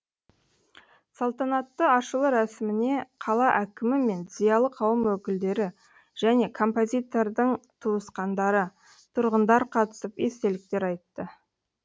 салтанатты ашылу рәсіміне қала әкімі мен зиялы қауым өкілдері және композитордың туысқандары тұрғындар қатысып естеліктер айтты